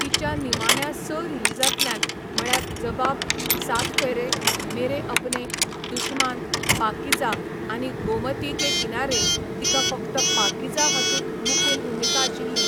तिच्या निमाण्या स रिलीजांतल्यान, म्हळ्यार जबाब, सात फेरे, मेरे अपने, दुशमान, पाकीझा आनी गोमती के किनारे, तिका फकत पाकीझा हातूंत मुखेल भुमिका आशिल्ली.